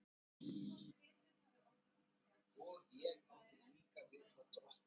En hvort ritið hafi orðið til gagns, um það er erfitt að dæma.